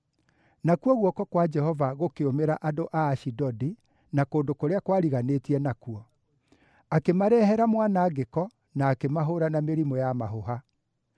Nakuo guoko kwa Jehova gũkĩũmĩra andũ a Ashidodi na kũndũ kũrĩa kwariganĩtie nakuo; akĩmarehere mwanangĩko na akĩmahũũra na mĩrimũ ya mahũha.